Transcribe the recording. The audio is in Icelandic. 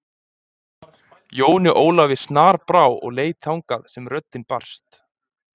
Jóni Ólafi snarbrá og leit þangað sem röddin barst.